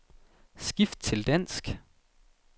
Skift til dansk.